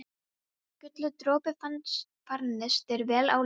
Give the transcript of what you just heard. Guli dropi, farnist þér vel á leið þinni.